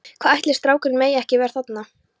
Hvað ætli strákurinn megi ekki vera þarna?